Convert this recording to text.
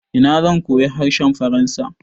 Ina zan koyi harshen faransa?